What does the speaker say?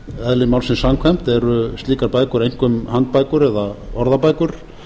eðli málsins samkvæmt eru slíkar bækur einkum handbækur eða orðabækur